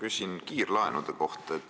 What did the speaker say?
Ma küsin kiirlaenude kohta.